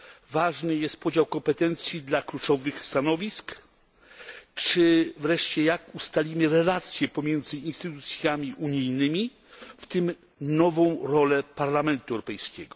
Ważny jest podział kompetencji dla kluczowych stanowisk czy wreszcie, jak ustalimy relacje pomiędzy instytucjami unijnymi, w tym nową rolę Parlamentu Europejskiego.